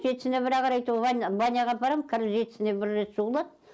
жетісіне бір ақ рет ой баняға апарам кір жетісіне бір рет жуылады